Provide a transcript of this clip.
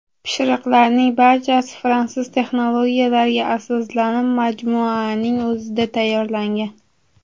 Pishiriqlarning barchasi fransuz texnologiyalariga asoslanib, majmuaning o‘zida tayyorlangan.